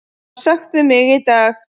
var sagt við mig í dag.